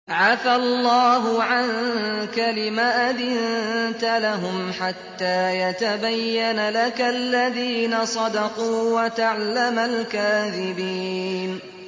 عَفَا اللَّهُ عَنكَ لِمَ أَذِنتَ لَهُمْ حَتَّىٰ يَتَبَيَّنَ لَكَ الَّذِينَ صَدَقُوا وَتَعْلَمَ الْكَاذِبِينَ